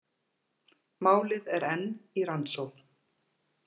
Málið er enn í rannsókn